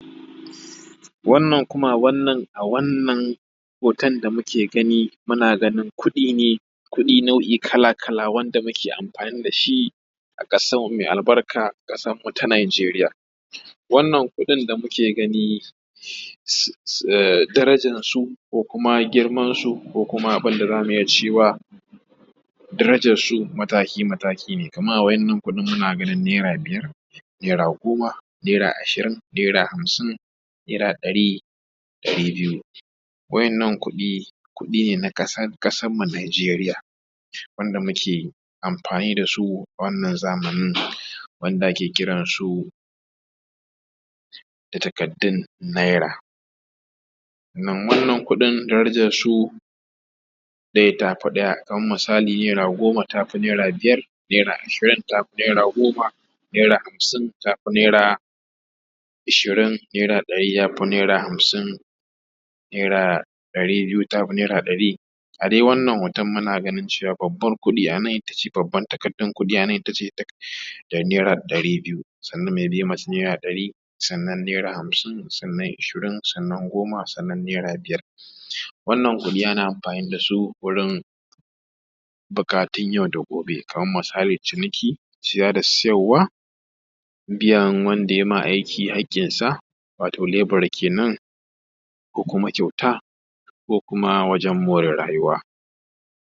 a wannan hoto da muke gani muna ganin kudi ne kuɗi nau'i kala kala wanda muke amfani da shi a ƙasar mu me albarka ƙasar mu ta najeriya wannan kuɗi da muke gani darajarsu ko kuma girmansu ko kuma bandira cewa darajarsu mataki mataki ne kaman a wa’innan kuɗin muna ganin naira biyar naira goma naira ashirin naira hamsin naira ɗari ɗari biyu wa'innan kuɗi kuɗi ne na ƙasarmu najeriya wanda muke amfani da su wannan zamanin wanda ake kira su da takardun naira wannan kuɗin darajarsu ɗaya tafi ɗaya kaman misali naira goma tafi biyar naira ashirin tafi naira goma naira hamsin tafi naira ashirin naira ɗari tafi naira hamsin naira ɗari biyu tafi naira ɗari a dai wannan hoton muna ganin cewa babban kuɗin takardan itace naira ɗari biyu sannan mai bin masa naira ɗari sannan naira hamsin sannan ishirin sannan goma sannan naira biyar wannan kuɗi ana amfani da su wurin buƙatun yau da gobe kaman misali ciniki siya da siyarwa biyan wanda yai ma aiki haƙƙinsa wato lebura kenan ko kuma kyauta ko kuma wajan mora rayuwa